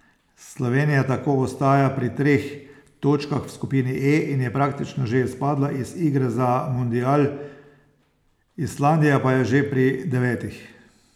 Slovenija tako ostaja pri treh točkah v skupini E in je praktično že izpadla iz igre za mundial, Islandija pa je že pri devetih.